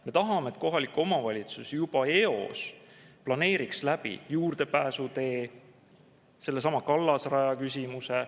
Me tahame, et kohalik omavalitsus juba eos planeeriks juurdepääsuteed sellesama kallasraja küsimuse.